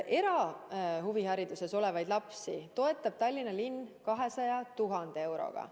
Erahuviharidusest osa saavaid lapsi toetab Tallinna linn 200 000 euroga.